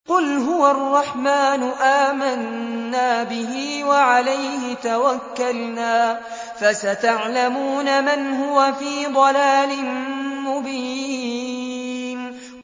قُلْ هُوَ الرَّحْمَٰنُ آمَنَّا بِهِ وَعَلَيْهِ تَوَكَّلْنَا ۖ فَسَتَعْلَمُونَ مَنْ هُوَ فِي ضَلَالٍ مُّبِينٍ